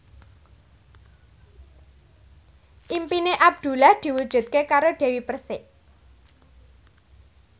impine Abdullah diwujudke karo Dewi Persik